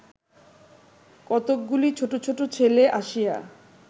কতকগুলি ছোট ছোট ছেলে আসিয়া